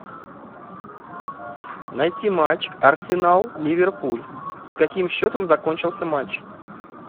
найти матч арсенал ливерпуль с каким счетом закончился матч